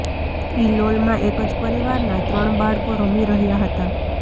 ઇલોલમાં એક જ પરિવારના ત્રણ બાળકો રમી રહ્યા હતા